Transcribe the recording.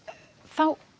þá